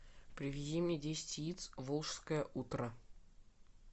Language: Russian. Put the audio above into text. привези мне десять яиц волжское утро